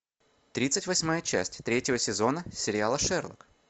тридцать восьмая часть третьего сезона сериала шерлок